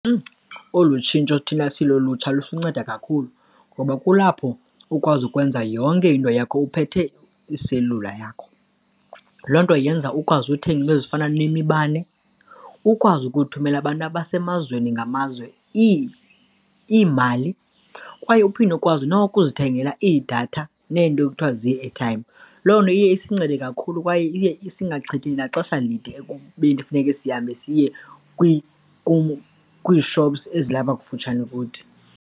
Olu tshintsho thina silulutsha lusinceda kakhulu ngoba kulapho ukwazi ukwenza yonke into yakho uphethe iiselula yakho. Loo nto yenza ukwazi uthenga iinto ezifana nemibane, ukwazi ukuthumela abantu abasemazweni ngamazwe iimali kwaye uphinde ukwazi nokuzithengela iidatha neento ekuthiwa zii-airtime. Loo nto iye isincede kakhulu kwaye iye singachithi naxesha elide ekubeni funeke sihambe siye kwii-shops ezilapha kufutshane kuthi.